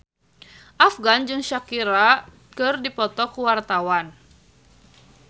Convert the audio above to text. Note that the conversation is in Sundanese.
Afgan jeung Shakira keur dipoto ku wartawan